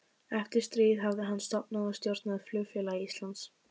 Eftir stríð hafði hann stofnað og stjórnað Flugfélagi Íslands